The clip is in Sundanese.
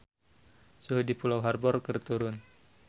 Suhu di Pulau Harbour keur turun